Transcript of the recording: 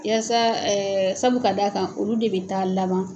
Yasa sabu ka d'a a kan olu de bɛ taa laban